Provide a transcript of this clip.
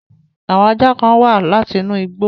Àwon ajá kan wa látinú igbó